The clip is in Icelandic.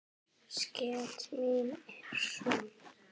Sekt mín er söm.